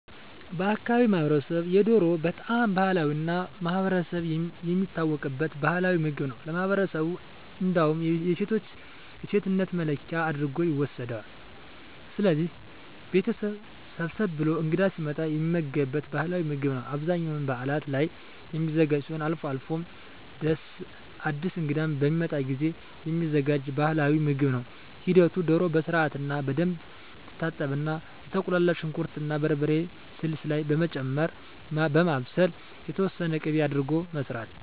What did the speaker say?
በአካባቢው ማህበረሰብ የዶሮ በጣም ባህላዊ እና ማህበረሰብ የሚታወቅበት ባህላዊ ምግብ ነው ለማህበረሠቡ እንዳውም የሴቶች የሴትነት መለኪያ አድርጎ ይወስደዋል። ስለዚህ ቤተሠብ ሰብሰብ ብሎ እንግዳ ሲመጣ የሚመገቡት ባህላዊ ምግብ ነው በአብዛኛው በዓላት ላይ የሚዘጋጅ ሲሆን አልፎ አልፎም አድስ እንግዳ በሚመጣ ጊዜም የሚዘጋጅ ባህልዊ ምግብ ነው ሂደቱ ዶሮ በስርዓትና በደንብ ትታጠብና የተቁላላ ሽንኩር እና በርበሬ ስልስ ላይ በመጨመር በማብሰል የተወሠነ ቂቤ አድርጎ መስራት